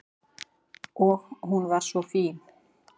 Og hún var svo fín.